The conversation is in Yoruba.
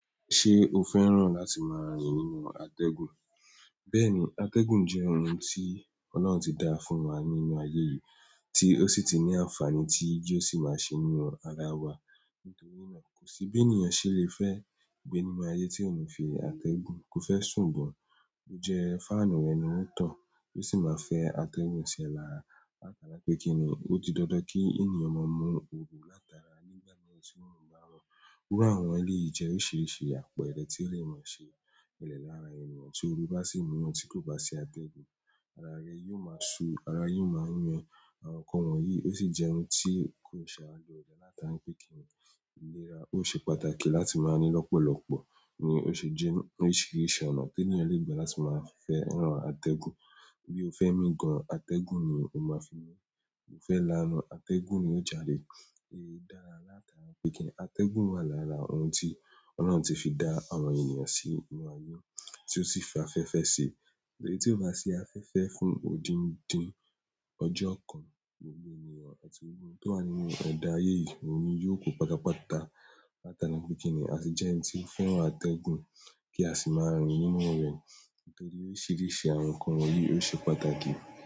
Ṣé o fẹ́ràn láti máa rìn nínú àtẹ́gùn? Bẹ́ẹ̀ni, àtẹ́gùn jẹ́ ohun tí Ọlọ́run ti dá fún wa nínú ayé yìí, tí ó sì ti ní àǹfààní tí yóò sì máa ṣe nínú ara wa. Nítorí náà, kò sí bí ènìyàn ṣe lè fẹ́ gbé nínú ayé tí òun ò fi àtẹ́gùn kó fẹ́ sùn gan. Ó jẹ́ fáànù rẹ̀ ni ó ń tan, ó sì máa fẹ́ àtẹ́gùn sí ẹ lára. Látara pé kí ni, ó ti dandan kí ènìyàn máa mú òru látara nígbà náà tí òorun bá rán. Iru àwọn eleyìí jẹ́ oríṣiríṣi, àpẹẹrẹ ti o le máa ṣe ṣẹlẹ̀ laárin ènìyàn tí ooru bá sì mú yan tí kò bá sí àtẹ́gùn. Ara rẹ yóò máa ṣo, ara yìí ó máa ń yun e, àwọn nǹkan wọ̀nyí ó sì jẹ́ ohun tí kò ṣe àra loore láti ará pè kí ń iléra. Ó ṣe pàtàkì láti máa ní lọ́pọ̀lọpọ̀. Ni o se je oríṣiríṣi ọ̀nà ti ènìyàn le gba fẹ́ràn ategun. Bí o fẹ́ mí gan an, àtẹ́gùn ni o máa fi mi. Bí o fẹ́ lanu, àtẹ́gùn ni ó jadè. Nítorí pe kini, ategun wa lára ohun ti Olorun ti fi da àwọn ènìyàn sínú aye ti o si fi afẹ́fẹ́ si torí tí ó bá ṣi afẹ́fẹ́ fún odindin ọjọ́ kan, gbogbo ènìyàn àti ohun tó wà nínú ẹ̀dá ayé yìí, òní yóò ku pátápátá. Látara ni pé kí ni, a sì jẹ́ ẹni tí ó fẹ́ràn àtẹ́gùn kí a sì máa rìn nínú rẹ̀. Nítorí oríṣiríṣi àwọn nǹkan wọ̀nyí ó ṣe pàtàkì.